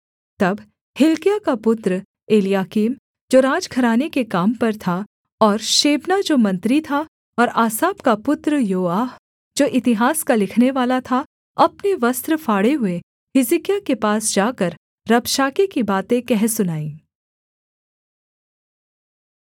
तब हिल्किय्याह का पुत्र एलयाकीम जो राजघराने के काम पर था और शेबना जो मंत्री था और आसाप का पुत्र योआह जो इतिहास का लिखनेवाला था अपने वस्त्र फाड़े हुए हिजकिय्याह के पास जाकर रबशाके की बातें कह सुनाईं